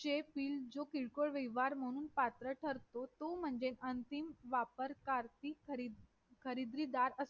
जसे की प्रत्येक गोष्टीला एक फायदा आणि तोटा असतोच तसेच माझं मत असं आहे की सामान नागरिक कायद्याला सुद्धा काही फायदे आहेत आणि काय तोटे सुद्धा आहेत त्यासोबत